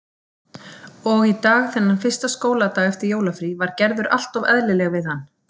Og í dag, þennan fyrsta skóladag eftir jólafrí, var Gerður alltof eðlileg við hann.